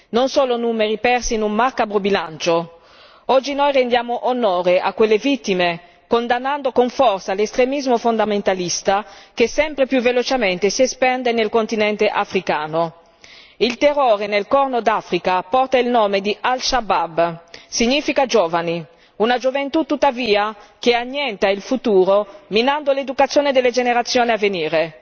Non sono numeri persi in un macabro bilancio. Oggi noi rendiamo onore a quelle vittime condannando con forza l'estremismo fondamentalista che sempre più velocemente si espande nel continente africano. Il terrore nel Corno d'Africa porta il nome di Al Shabaab, significa giovani, una gioventù tuttavia che annienta il futuro, minando l'educazione delle generazioni a venire.